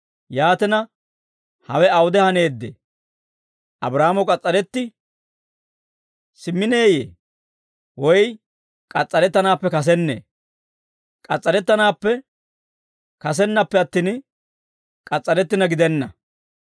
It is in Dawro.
Yaatina, hawe awude haneeddee? Abraahaamo k'as's'aretti simmineyye? Woy k'as's'arettanaappe kasennee? K'as's'arettanaappe kasennappe attin, k'as's'arettina gidenna.